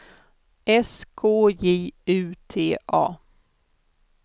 S K J U T A